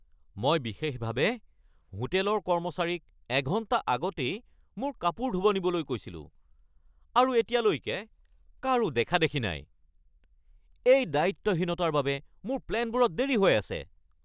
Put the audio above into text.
মই বিশেষভাৱে হোটেলৰ কৰ্মচাৰীক এঘণ্টা আগতেই মোৰ কাপোৰ ধুব নিবলৈ কৈছিলো, আৰু এতিয়ালৈ কাৰো দেখা-দেখি নাই। এই দায়িত্বহীনতাৰ বাবে মোৰ প্লেনবোৰত দেৰি হৈ আছে!